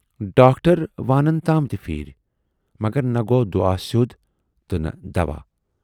Doctor وانَن تام تہِ پھیٖرۍ، مگر نہَ گَو دُعا سیود تہٕ نہٕ دَوا۔